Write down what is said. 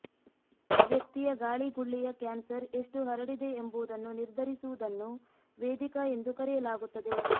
ವ್ಯಕ್ತಿಯ ಗಾಳಿಗುಳ್ಳೆಯ ಕ್ಯಾನ್ಸರ್ ಎಷ್ಟು ಹರಡಿದೆ ಎಂಬುದನ್ನು ನಿರ್ಧರಿಸುವುದನ್ನು ವೇದಿಕಾ ಎಂದು ಕರೆಯಲಾಗುತ್ತದೆ